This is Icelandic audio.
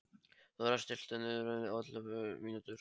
Þórar, stilltu niðurteljara á ellefu mínútur.